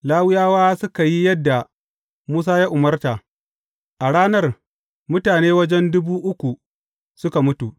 Lawiyawa suka yi yadda Musa ya umarta, a ranar, mutane wajen dubu uku suka mutu.